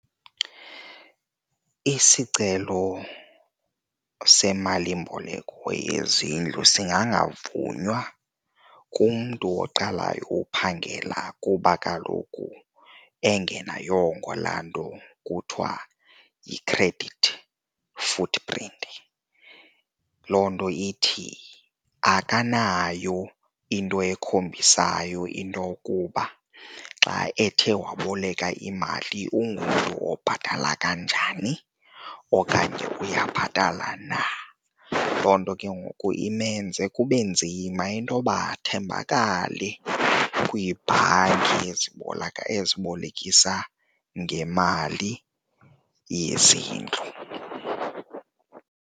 Isicelo semalimboleko yezindlu singangavunywa kumntu oqalayo uphangela kuba kaloku engenayongo laa nto kuthiwa yi-credit footprint. Loo nto ithi akanayo into ekhombisayo intokuba xa ethe waboleka imali ungumntu obhatala kanjani okanye uyabhatala na. Loo nto ke ngoku imenze kube nzima intoba athembakale kwiibhanki ezibolekisa ngemali yezindlu.